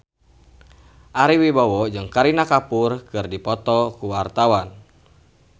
Ari Wibowo jeung Kareena Kapoor keur dipoto ku wartawan